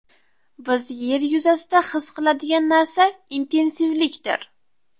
Biz yer yuzasida his qiladigan narsa intensivlikdir.